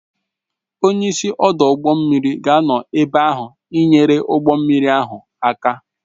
Onye isi ọdụ ụgbọ mmiri ga-anọ ebe ahụ ị nyere ụgbọ mmiri ahụ aka